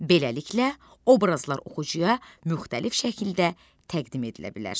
Beləliklə, obrazlar oxucuya müxtəlif şəkildə təqdim edilə bilər.